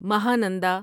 Mahananda